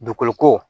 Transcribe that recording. Dugukolo ko